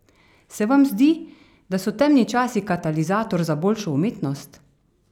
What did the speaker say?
Se vam zdi, da so temni časi katalizator za boljšo umetnost?